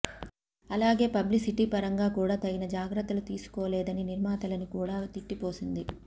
అలాగే పబ్లిసిటీ పరంగా కూడా తగిన జాగ్రత్తలు తీసుకోలేదని నిర్మాతలని కూడా తిట్టిపోసింది